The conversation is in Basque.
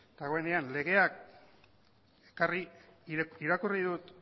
dagoenean legeak ekarri irakurri dut